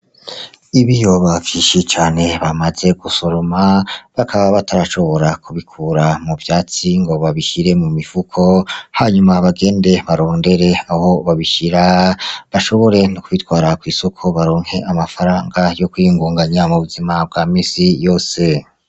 Ibiyoba vyinshi cane bamaze gusoroma bakaba batarashobora kubikura mu vyatsi ngo babishire mu mifuka hanyuma bagende barondere aho babishira bashobore no kubitwara kw'isoko baronke amafaranga yo kwiyungunganya mu buzima bwa misi yose.